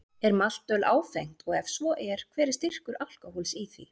Er maltöl áfengt og ef svo er, hver er styrkur alkóhóls í því?